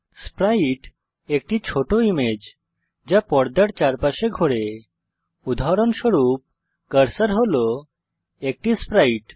Sprite একটি ছোট image যা পর্দার চারপাশে ঘোরে উদাহরণস্বরূপ কার্সার হল একটি স্প্রাইট